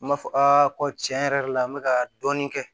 N b'a fɔ ko tiɲɛ yɛrɛ la n bɛ ka dɔɔnin kɛ